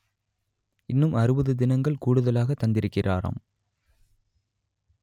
இன்னும் அறுபது தினங்கள் கூடுதலாக தந்திருக்கிறாராம்